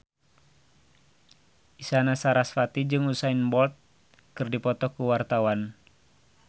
Isyana Sarasvati jeung Usain Bolt keur dipoto ku wartawan